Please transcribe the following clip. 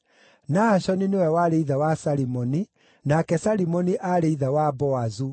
Nahashoni nĩwe warĩ ithe wa Salimoni, nake Salimoni aarĩ ithe wa Boazu,